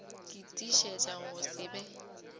ke tiišetša go se be